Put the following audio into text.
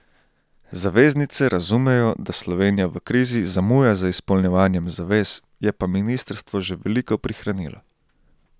Zaveznice razumejo, da Slovenija v krizi zamuja z izpolnjevanjem zavez, je pa ministrstvo že veliko prihranilo.